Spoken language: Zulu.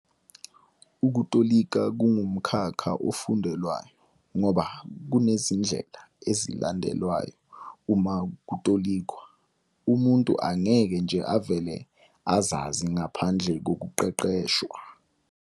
Ukutolika kungumkhakha ofundelwayo, ngoba kunezindlela ezilandelwayo uma kutolikwa umuntu angeke nje avele azazi ngaphandle kokuqeqeshwa.